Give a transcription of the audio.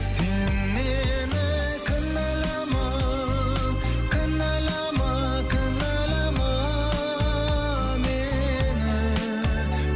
сен мені кінәлама кінәлама кінәлама мені